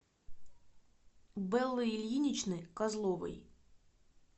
бэллы ильиничны козловой